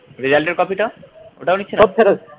copy টা ওটাও দিচ্ছে না